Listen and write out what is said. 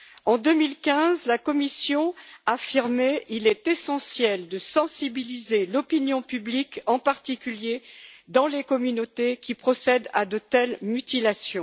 En 2015, la Commission affirmait qu'il est essentiel de sensibiliser l'opinion publique, en particulier dans les communautés qui procèdent à de telles mutilations.